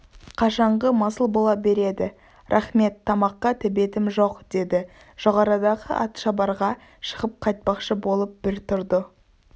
қашанғы масыл бола береді рақмет тамаққа тәбетім жоқ деді жоғарыдағы атшабарға шығып қайтпақшы болып бір тұрды